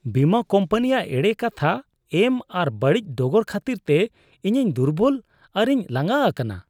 ᱵᱤᱢᱟᱹ ᱠᱳᱢᱯᱟᱱᱤᱭᱟᱜ ᱮᱲᱮ ᱠᱟᱛᱷᱟ ᱮᱢ ᱟᱨ ᱵᱟᱹᱲᱤᱡ ᱰᱚᱜᱚᱨ ᱠᱷᱟᱹᱛᱤᱨᱛᱮ ᱤᱧᱤᱧ ᱫᱩᱨᱵᱚᱞ ᱟᱨᱤᱧ ᱞᱟᱸᱜᱟ ᱟᱠᱟᱱᱟ ᱾